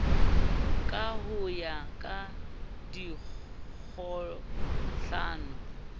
ka ho ya ka dikgohlano